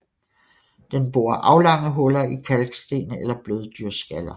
Den borer aflange huller i kalksten eller bløddyrskaller